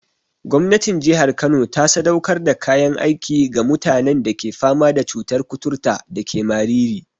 Gwamnatin jihar Kano ta sadaukar da kayan aiki ga mutanen da ke fama da cutar kuturta dake Mariri.